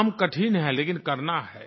काम कठिन है लेकिन करना है